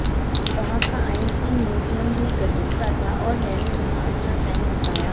वहां का Einstein museum भी गजब का था और मैंने वहां अच्छा टाइम बिताया